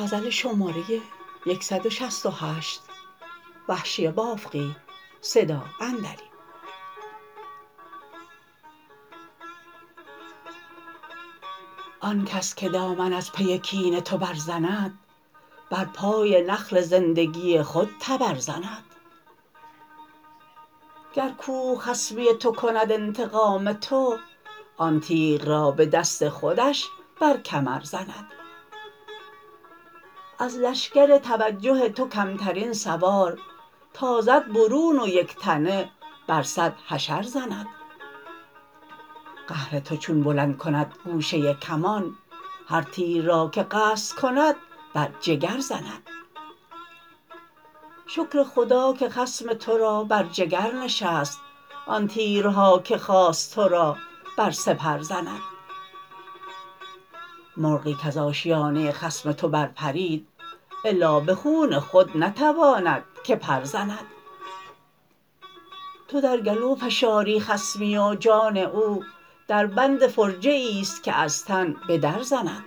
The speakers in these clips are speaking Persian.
آنکس که دامن از پی کین تو بر زند بر پای نخل زندگی خود تبر زند گر کوه خصمی تو کند انتقام تو آن تیغ را به دست خودش بر کمر زند از لشکر توجه تو کمترین سوار تازد برون و یکتنه بر سد حشر زند قهر تو چون بلند کند گوشه کمان هر تیر را که قصد کند بر جگر زند شکر خدا که خصم ترا بر جگر نشست آن تیرها که خواست ترا بر سپر زند مرغی کز آشیانه خصم تو بر پرید الا به خون خود نتواند که پرزند تودر گلو فشاری خصمی و جان او در بند فرجه ایست که از تن به در زند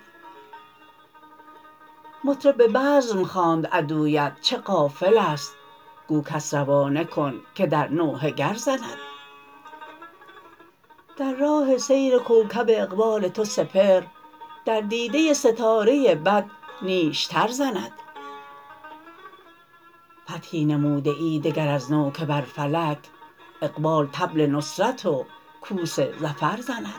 مطرب به بزم خواند عدویت چه غافلست گو کس روانه کن که در نوحه گر زند در راه سیر کوکب اقبال تو سپهر در دیده ستاره بد نیشتر زند فتحی نموده ای دگر از نو که بر فلک اقبال طبل نصرت و کوس ظفر زند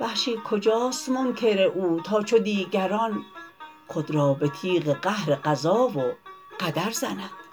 وحشی کجاست منکر او تا چو دیگران خود را به تیغ قهر قضا و قدر زند